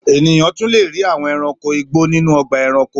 Ènìyàn tún le rí àwọn ẹranko igbó nínú ọgbà-ẹranko.